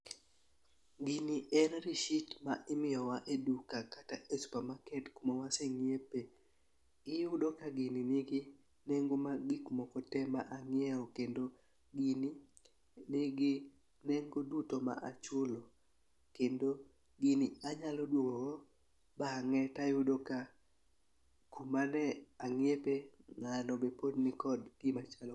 Gini en risit ma imiyo wa e duka kata e supermarket kuma waseng'iepe. Iyudo ka gini nigi nengo mag gik moko te ma ang'iewo kendo gini nigi nengo duto ma achulo kendo gin anyalo duogo go bang'e tayudo ka kuma ne ang'iepe ng'ano be pod nigi gima chalo kamano.